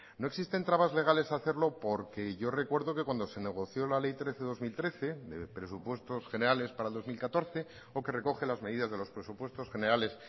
no existen trabas legales a hacerlo porque yo recuerdo que cuando se negoció la ley trece barra dos mil trece de presupuestos generales para el dos mil catorce o que recoge las medidas de los presupuestos generales